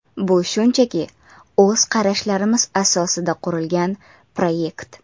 Bu shunchaki o‘z qarashlarimiz asosida qurilgan proyekt.